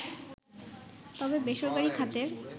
তবে বেসরকারি খাতের